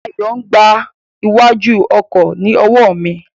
Ayo n gba iwájú ọkọ ni owo mi.